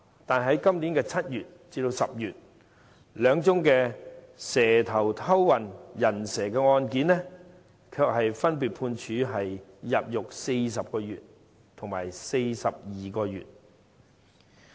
但是，在今年7月至10月，兩宗"蛇頭"偷運"人蛇"的案件，卻分別判處入獄40個月及42個月。